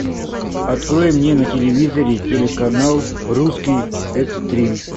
открой мне на телевизоре телеканал русский экстрим